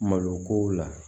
Malo ko la